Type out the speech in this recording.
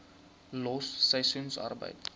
los seisoensarbeid